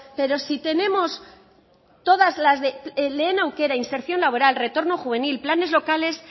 pero si tenemos todas las de lehen aukera inserción laboral retorno juvenil planes locales